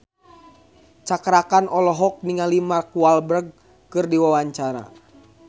Cakra Khan olohok ningali Mark Walberg keur diwawancara